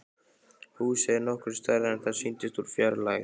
Húsið er nokkru stærra en það sýndist úr fjarlægð.